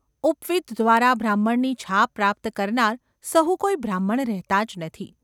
ઉપવીત દ્વારા બ્રાહ્મણની છાપ પ્રાપ્ત કરનાર સહુ કોઈ બ્રાહ્મણ રહેતા જ નથી.